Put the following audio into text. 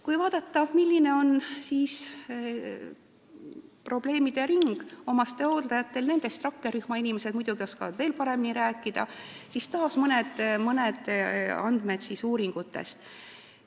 Kui vaadata, milline on omastehooldajate probleemidering – rakkerühma inimesed oskavad sellest muidugi veel paremini rääkida –, siis taas võib tuua mõned andmed uuringutest.